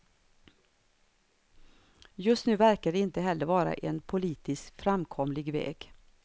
Just nu verkar det inte heller vara en politiskt framkomlig väg.